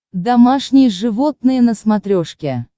домашние животные на смотрешке